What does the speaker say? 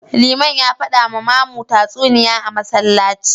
Liman ya fada ma mamu tatsuniya a Masallaci